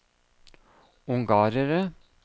ungarere